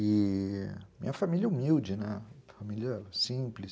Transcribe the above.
e minha família humilde, né, família simples.